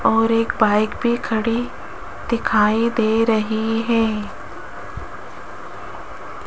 और एक बाइक भी खड़ी दिखाई दे रही है।